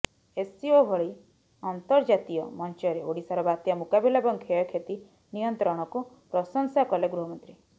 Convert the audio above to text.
SCO ଭଳି ଅର୍ନ୍ତଜାତୀୟ ମଞ୍ଚରେ ଓଡ଼ିଶାର ବାତ୍ୟା ମୁକାବିଲା ଏବଂ କ୍ଷୟକ୍ଷତି ନିୟନ୍ତ୍ରଣକୁ ପ୍ରଶଂସା କଲେ ଗୃହମନ୍ତ୍ରୀ